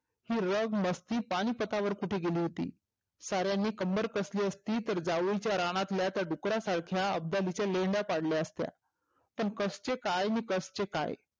ही रग मस्ती पानीपतावर कुठे गेली होती? सार्यांनी कंवर कसले असतानी जावळीतल्या रानातील त्या डुकरासारख्या आफगालीच्या लेंड्या पाडल्या असत्या. पण कसचे काय आणि कसचे काय.